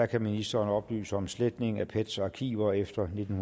kan ministeren oplyse om sletning af pets arkiver efter nitten